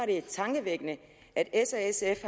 det er tankevækkende at s og sf